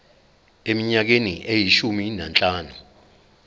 eminyakeni eyishumi nanhlanu